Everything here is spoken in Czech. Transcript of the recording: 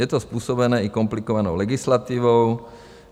Je to způsobené i komplikovanou legislativou.